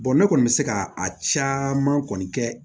ne kɔni bɛ se ka a caman kɔni kɛ